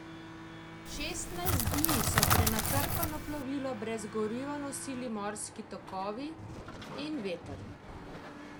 Šestnajst dni so prenatrpano plovilo brez goriva nosili morski tokovi in veter.